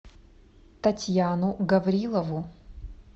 татьяну гаврилову